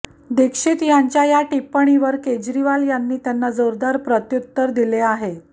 दीक्षित यांच्या या टिपण्णी वर केजरीवाल यांनी त्यांना जोरदार प्रत्युत्तर दिले आहे